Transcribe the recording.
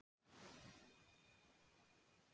Lækka hámarkshraða vegna olíuverðs